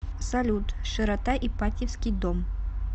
салют широта ипатьевский дом